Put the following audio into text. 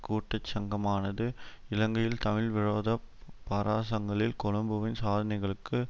கூட்டுச்சங்கமானது இலங்கையில் தமிழர் விரோத பாராசங்களில் கொழும்புவின் சாதனைகளுக்கு